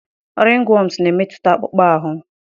ringworms na-emetụta akpụkpọ ahụ.